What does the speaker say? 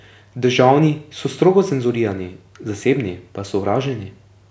Državni so strogo cenzurirani, zasebni pa osovraženi.